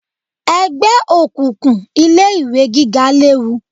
Ẹgbẹ́ òkùnkùn ilé ìwé gíga léwu